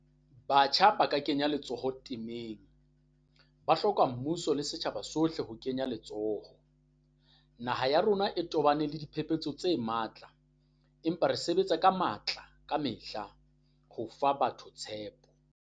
Batjha ba kenya letsoho temeng, ba hloka mmuso le setjhaba sohle ho kenya letsoho. Naha ya rona e tobane le diphephetso tse matla, empa re sebetsa ka matla kamehla ho fa batho tshepo.